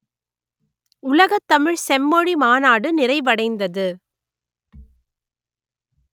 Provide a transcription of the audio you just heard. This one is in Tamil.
உலகத் தமிழ் செம்மொழி மாநாடு நிறைவடைந்தது